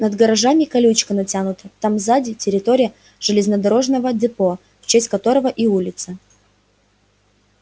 над гаражами колючка натянута там сзади территория железнодорожного депо в честь которого и улица